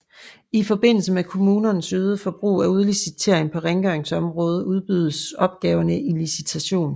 I forbindelse med kommunernes øgede brug af udlicitering på rengøringsområdet udbydes opgaverne i licitation